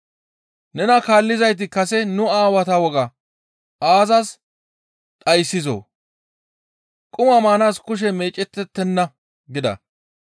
«Nena kaallizayti kase nu aawata wogaa aazas dhayssizoo? Quma maanaas kushe meecettettenna» gida.